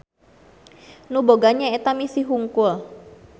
Nu boga nyaeta misi hungkul.